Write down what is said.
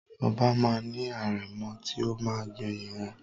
Oba ma ni arẹ̀mọ ti o ma gbẹ̀yìn wọn.